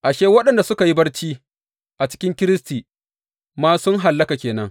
Ashe, waɗanda suka yi barci a cikin Kiristi ma sun hallaka ke nan.